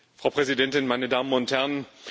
Frau Präsidentin, meine Damen und Herren!